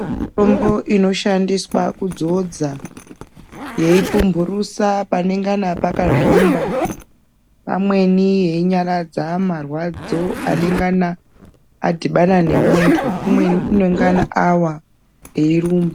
Mitombo inosandiswa kudzodza yeipumbhurusa panengana pakazvimbapamweni yeinyaradza marwadzo anengana adhibana nemunthu umweni unengana awa eirumba.